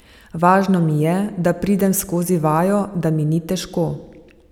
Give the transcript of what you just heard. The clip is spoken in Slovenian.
Važno mi je, da pridem skozi vajo, da mi ni težko.